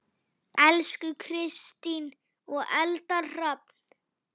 Elsku Kristín og Eldar Hrafn.